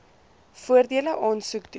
voordele aansoek doen